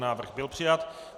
Návrh byl přijat.